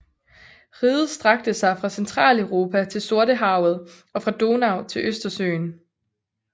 Riget strakte sig fra Centraleuropa til Sortehavet og fra Donau til Østersøen